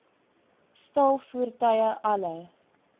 staal voertuie alle